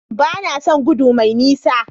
Ba na son gudu mai nisa.